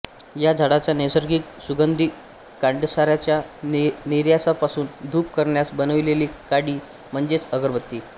या झाडाच्या नैसर्गिक सुगंधी काण्डसाराच्या निर्यासापासून धूप करण्यास बनविलेली काडी म्हणजेच अगरबत्ती